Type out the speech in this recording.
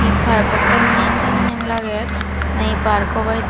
park ko sannen sannen lager nahi park abaw hijeni.